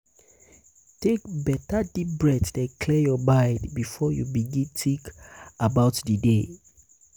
take beta deep breathe den clear yur mind bifor yu begin tink about di day.